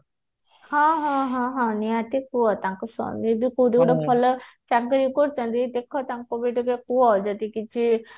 ହଁ ନିହାତି କୁହ ତାଙ୍କ ସ୍ଵାମୀ ଏବେ କୋଉଠି ଗୋଟେ ଭଲ ଚାକିରି କରୁଛନ୍ତି ଦେଖ ତାଙ୍କୁ ବି ଟିକେ କୁହ ଯଦି କିଛି